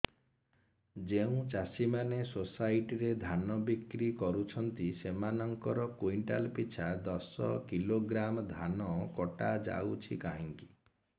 ଯେଉଁ ଚାଷୀ ମାନେ ସୋସାଇଟି ରେ ଧାନ ବିକ୍ରି କରୁଛନ୍ତି ସେମାନଙ୍କର କୁଇଣ୍ଟାଲ ପିଛା ଦଶ କିଲୋଗ୍ରାମ ଧାନ କଟା ଯାଉଛି କାହିଁକି